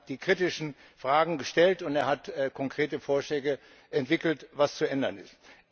Er hat die kritischen Fragen gestellt und er hat konkrete Vorschläge entwickelt, was zu ändern ist.